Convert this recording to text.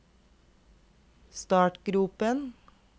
startgropen